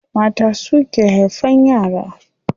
Mata suke haifan yara.